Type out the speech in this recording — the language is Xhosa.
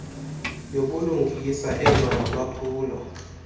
yobulungisa elwa nolwaphulo